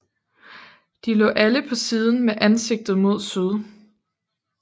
De lå alle på siden med ansigtet mod syd